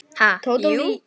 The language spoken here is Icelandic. Ha, jú.